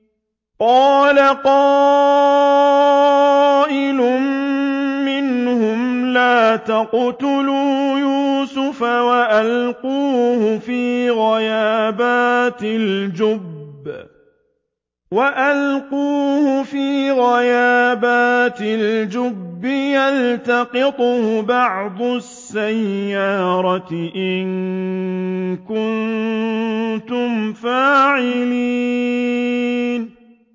قَالَ قَائِلٌ مِّنْهُمْ لَا تَقْتُلُوا يُوسُفَ وَأَلْقُوهُ فِي غَيَابَتِ الْجُبِّ يَلْتَقِطْهُ بَعْضُ السَّيَّارَةِ إِن كُنتُمْ فَاعِلِينَ